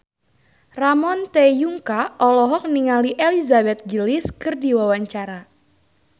Ramon T. Yungka olohok ningali Elizabeth Gillies keur diwawancara